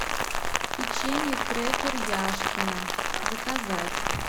печенье крекер яшкино заказать